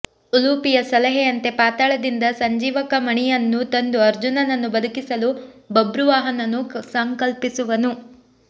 ಉಲೂಪಿಯ ಸಲಹೆಯಂತೆ ಪಾತಾಳದಿಂದ ಸಂಜೀವಕಮಣಿಯನ್ನು ತಂದು ಅರ್ಜುನನ್ನು ಬದುಕಿಸಲು ಬಭ್ರುವಾಹನನು ಸಂಕಲ್ಪಿಸುವನು